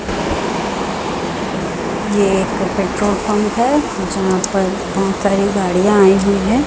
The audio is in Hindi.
ये एक पेट्रोल पंप हैं। जहां पर बहोत सारी गाड़ियां आई हुई है।